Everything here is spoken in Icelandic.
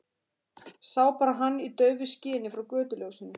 Sá bara hann í daufu skini frá götuljósinu.